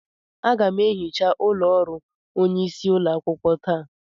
Aga m ehicha ụlọ ọrụ onyeisi ụlọakwukwo taa.